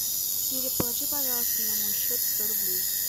сири положи пожалуйста на мой счет сто рублей